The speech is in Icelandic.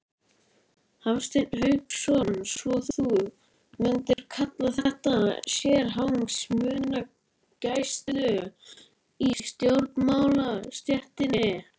Hafsteinn Hauksson: Svo þú mundir kalla þetta sérhagsmunagæslu í stjórnmálastéttinni?